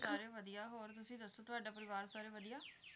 ਸਾਰੇ ਵਧੀਆ ਹੋਰ ਤੁਸੀਂ ਦੱਸੋ ਤੁਹਾਡਾ ਪਰਿਵਾਰ ਸਾਰੇ ਵਧੀਆ